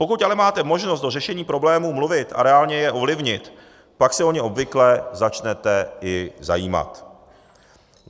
Pokud ale máte možnost do řešení problémů mluvit a reálně je ovlivnit, pak se o ně obvykle začnete i zajímat.